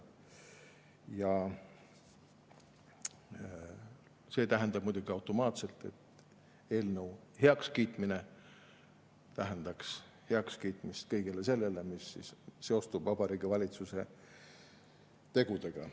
Eelnõu heakskiitmine tähendaks muidugi automaatselt kõige selle heakskiitmist, mis seostub Vabariigi Valitsuse tegudega.